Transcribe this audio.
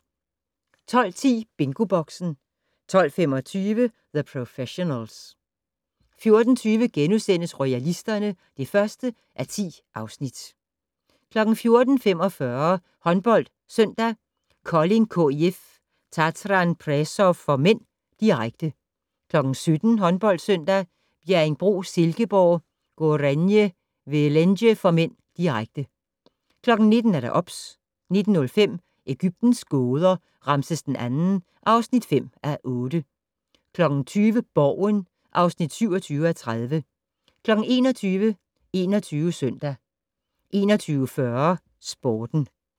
12:10: BingoBoxen 12:25: The Professionals 14:20: Royalisterne (1:10)* 14:45: HåndboldSøndag: Kolding KIF-Tatran Presov (m), direkte 17:00: HåndboldSøndag: Bjerringbro-Silkeborg - Gorenje Velenje (m), direkte 19:00: OBS 19:05: Egyptens gåder - Ramses II (5:8) 20:00: Borgen (27:30) 21:00: 21 Søndag 21:40: Sporten